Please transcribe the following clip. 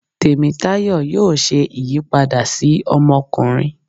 Temitayo yóò ṣe ìyípada si ọmọkunrin.